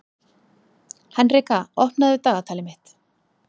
Henrika, opnaðu dagatalið mitt.